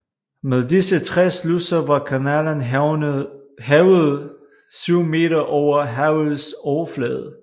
Med disse tre sluser var kanalen hævet 7 m over havets overflade